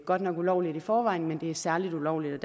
godt nok ulovligt i forvejen men det er særlig ulovligt